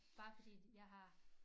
Bare fordi jeg har